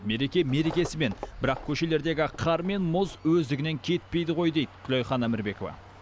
мереке мерекесімен бірақ көшелердегі қар мен мұз өздігінен кетпейді ғой дейді күлайхан әмірбекова